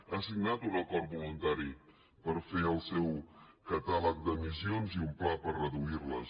ha signat un acord voluntari per fer el seu catàleg d’emissions i un pla per reduir les